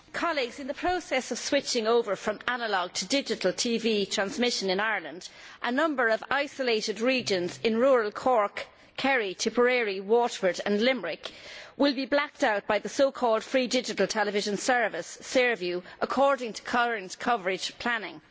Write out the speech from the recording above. Mr President, in the process of switching over from analogue to digital TV transmission in Ireland, a number of isolated regions in rural Cork, Kerry, Tipperary, Waterford and Limerick will be blacked out by the so called free digital television service Saorview, according to current coverage planning.